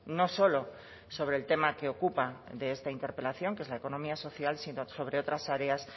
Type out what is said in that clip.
no solo sobre el tema que ocupa de esta interpelación que es la economía social sino sobre otras áreas